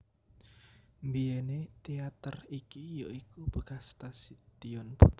Mbièné téater iki ya iku bekas stadion futsal